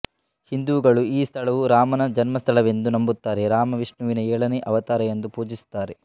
ಹಿಂದೂಗಳು ಈ ಸ್ಥಳವು ರಾಮನ ಜನ್ಮಸ್ಥಳವೆಂದು ನಂಬುತ್ತಾರೆ ರಾಮ ವಿಷ್ಣುವಿನ ಏಳನೇ ಅವತಾರ ಎಂದು ಪೂಜಿಸುತ್ತಾರೆ